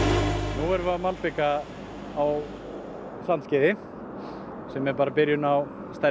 nú erum við að malbika á Sandskeiði sem er bara byrjunin á stærri